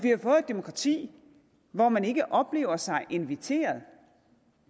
demokrati hvor man ikke oplever sig inviteret